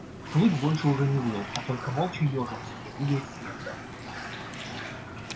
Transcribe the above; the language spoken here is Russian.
клык больше уже не выл а только молча ёжился не двигаясь с места